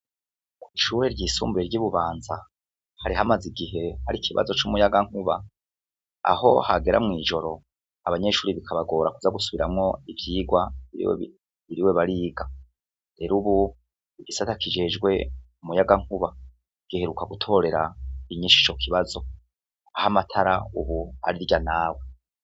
Kw'ishure ryisumbuye ry'ibubanza hari hamaze igihe har'ikibazo c'umuyagankuba aho hagera mw'ijoro abanyeshuri bikabagora kuza gusubiramwo ivyigwa biriwe bariga, rero ubu igisata kijejwe umuyagankuba giheruka gutorera inyishu ico kibazo aho amatara ubu ari irya nawe.